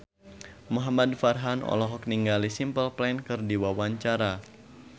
Muhamad Farhan olohok ningali Simple Plan keur diwawancara